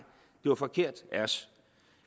det var forkert af os